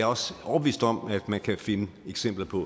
også overbevist om at man kan finde eksempler på